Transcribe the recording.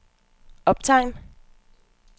optegn